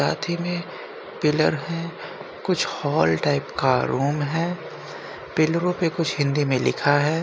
साथी में पिल्लर है| कुछ होल टाइप का रूम है| पिल्लरो पे कुछ हिंदी में लिखा है।